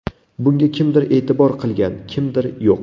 Bunga kimdir e’tibor qilgan, kimdir yo‘q.